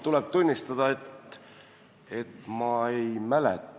Tuleb tunnistada, et ma ei mäleta.